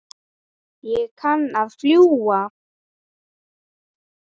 Ég kann að fljúga.